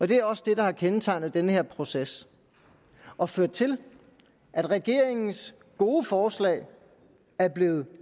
det er også det der har kendetegnet den her proces og ført til at regeringens gode forslag er blevet